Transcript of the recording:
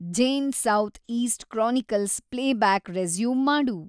Zane South East Chronicles playback resume ಮಾಡು